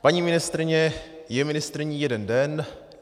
Paní ministryně je ministryní jeden den.